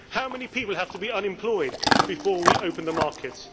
How many people have to be unemployed before we open the markets?